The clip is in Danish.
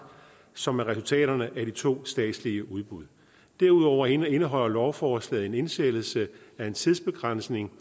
som er resultaterne af de to statslige udbud derudover indeholder lovforslaget en indsættelse af en tidsbegrænsning